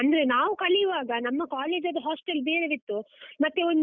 ಅಂದ್ರೆ ನಾವು ಕಲಿವಾಗ ನಮ್ಮ college ಅದ್ದು hostel ಬೇರೆವೇ ಇತ್ತು, ಮತ್ತೆ ಒಂದು.